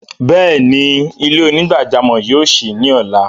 Bẹẹni, ilẹ̀-onígbàjàmọ́ yóò ṣí ni ọla.